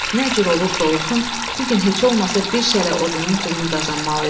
Nə cür olursa olsun, bu gün heç olmasa bir şələ odunun pulunu qazanmalı idi.